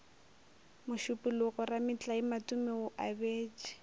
mošupologo rametlae matome o abetše